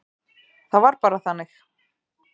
Það var bara þannig.